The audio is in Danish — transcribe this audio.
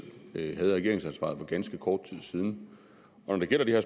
havde regeringsansvaret for ganske kort tid siden når det gælder det her